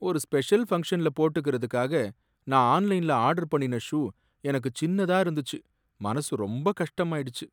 ஒரு ஸ்பெஷல் ஃபங்க்ஷன்ல போட்டுக்குறதுக்காக நான் ஆன்லைன்ல ஆர்டர் பண்ணின ஷூ எனக்கு சின்னதா இருந்துச்சு, மனசுக்கு ரொம்ப கஷ்டமாயிடுச்சு.